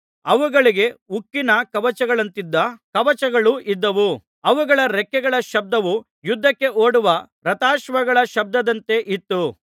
ಅವುಗಳಿಗೆ ಉಕ್ಕಿನ ಕವಚಗಳಂತಿದ್ದ ಕವಚಗಳು ಇದ್ದವು ಅವುಗಳ ರೆಕ್ಕೆಗಳ ಶಬ್ದವು ಯುದ್ಧಕ್ಕೆ ಓಡುವ ರಥಾಶ್ವಗಳ ಶಬ್ದದಂತೆ ಇತ್ತು